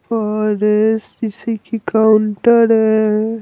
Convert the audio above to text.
और जिसे कि काउंटर है।